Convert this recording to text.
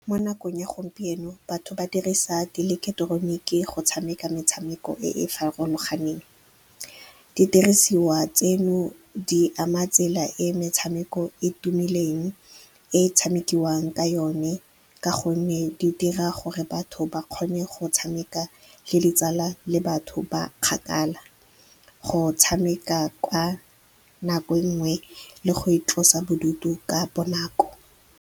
Mo nakong ya gompieno batho ba dirisa dieleketeroniki go tshameka metshameko e e farologaneng. Didirisiwa tseno di ama tsela e metshameko e tumileng e tshamekiwang ka yone, ka gonne di dira gore batho ba kgone go tshameka le ditsala le batho ba kgakala, go tshameka ka nako nngwe le go itlosa bodutu ka bonako.